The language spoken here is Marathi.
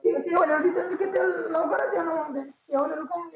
लवकरच येन